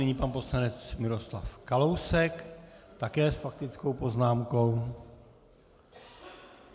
Nyní pan poslanec Miroslav Kalousek, také s faktickou poznámkou.